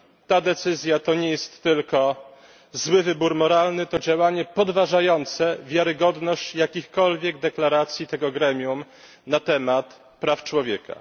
Ta decyzja to nie jest tylko zły wybór moralny, to działanie podważające wiarygodność jakichkolwiek deklaracji tego gremium na temat praw człowieka.